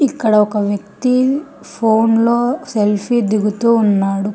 ఇక్కడ ఒక వ్యక్తి ఫోన్లో సెల్ఫీ దిగుతూ ఉన్నాడు.